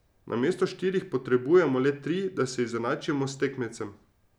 Namesto štirih potrebujemo le tri, da se izenačimo s tekmecem.